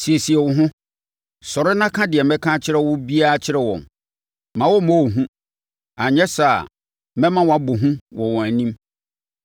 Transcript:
“Siesie wo ho! Sɔre na ka deɛ mɛka akyerɛ wo biara kyerɛ wɔn. Mma wɔmmmɔ wo hu, anyɛ saa a mɛma woabɔ hu wɔ wɔn anim.